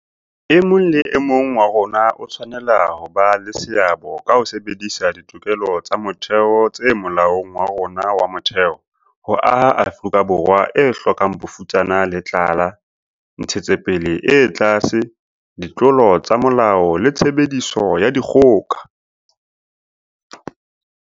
E mong le e mong wa rona o tshwanela ho ba le seabo ka ho sebedisa ditokelo tsa motheo tse Molaong wa rona wa Motheo ho aha Afrika Borwa e hlokang bofutsana le tlala, ntshetsopele e tlase, ditlolo tsa molao le tshebediso ya dikgoka.